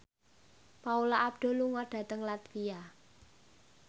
Paula Abdul lunga dhateng latvia